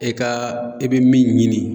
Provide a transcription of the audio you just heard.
E kaa i bi min ɲini